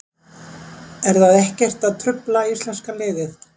Er það ekkert að trufla íslenska liðið?